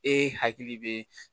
E hakili bɛ